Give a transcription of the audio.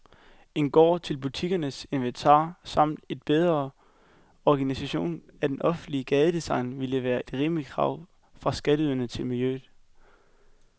En gård til butikkens inventar samt en bedre organisering af det offentlige gadedesign ville være et rimeligt krav fra skatteyderne til miljøet.